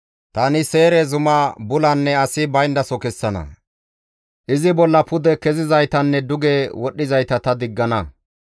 Tani Seyre zuma bulanne asi bayndaso kessana; izi bolla pude kezizaytanne duge wodhdhizayta ta diggana.